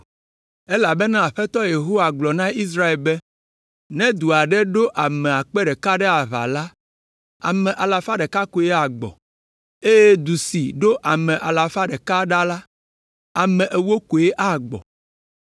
elabena Aƒetɔ Yehowa gblɔ na Israel be, ‘Ne du aɖe ɖo ame akpe ɖeka ɖe aʋa la, ame alafa ɖeka koe agbɔ, eye du si ɖo ame alafa ɖeka ɖa la ame ewo koe agbɔ.’ ”